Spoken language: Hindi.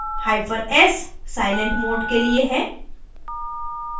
hyphen s silent mode के लिए है